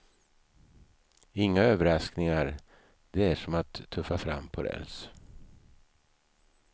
Inga överraskningar, det är som att tuffa fram på räls.